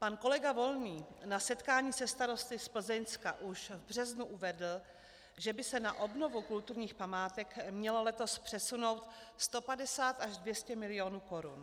Pan kolega Volný na setkání se starosty z Plzeňska už v březnu uvedl, že by se na obnovu kulturních památek mělo letos přesunout 150 až 200 milionů korun.